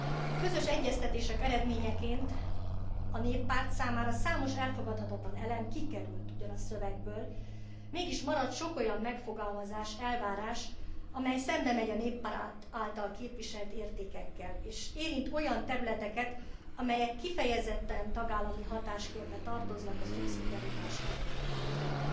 A közös egyeztetések eredményeként a Néppárt számára számos elfogadhatatlan elem kikerült ugyan a szövegből, mégis maradt sok olyan megfogalmazás, elvárás, amely szembemegy a Néppárt által képviselt értékekkel, és érint olyan területeket, amelyek kifejezetten tagállami hatáskörbe tartoznak a szubszidiaritás elvének alapján.